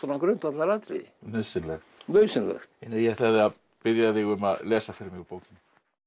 grundvallaratriði nauðsynlegt nauðsynlegt ég ætlaði að biðja þig um að lesa fyrir mig úr bókinni